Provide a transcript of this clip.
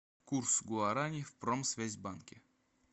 курс гуараней в промсвязьбанке